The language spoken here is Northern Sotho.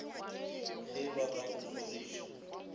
ge ba ka go hloriša